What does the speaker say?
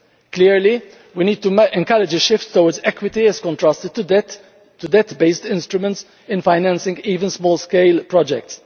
Clearly we need to encourage a shift towards equity as contrasted to debt based instruments in financing even small scale projects.